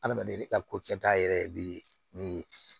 Adamaden ka ko kɛta yɛrɛ be min ye